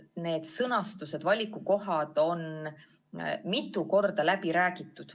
Need sõnastused, valikukohad on mitu korda läbi räägitud.